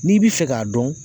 N'i b'i fɛ k'a dɔn